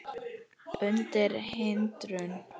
undan hindrun